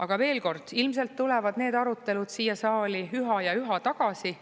Aga veel kord, ilmselt tulevad need arutelud siia saali üha ja üha tagasi,